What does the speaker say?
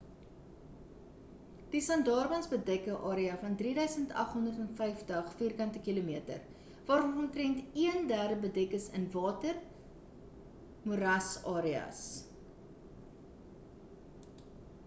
die sundarbans bedek ‘n area van 3 850 km² waarvan omtrend een-derde bedek is in water/ moerasareas